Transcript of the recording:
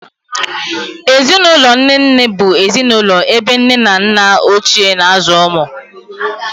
Ezinụlọ nne nne bụ ezinụlọ ebe nne na nna Ochie na-azụ ụmụ.